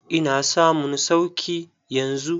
Ina samun sauki yanzu.